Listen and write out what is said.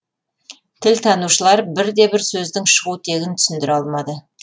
тілтанушылар бірде бір сөздің шығу тегін түсіндіре алмады